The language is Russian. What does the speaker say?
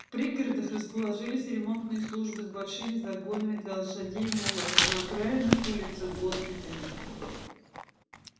в пригородах расположились ремонтные службы с большими загонами для лошадей и мулов а на окраинных улицах госпитали